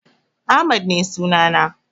Ahmad ne sunana.